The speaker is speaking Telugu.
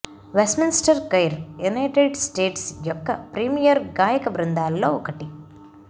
వెస్ట్మిన్స్టర్ కోయిర్ యునైటెడ్ స్టేట్ యొక్క ప్రీమియర్ గాయక బృందాలలో ఒకటి